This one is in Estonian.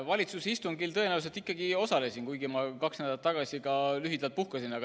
Valitsuse istungil ma tõenäoliselt ikkagi osalesin, kuigi ma kaks nädalat tagasi ka lühidalt puhkasin.